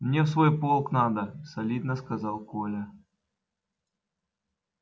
мне в свой полк надо солидно сказал коля